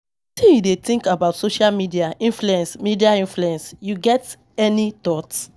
Wetin you dey think about social media influence, media influence, you get any thoughts?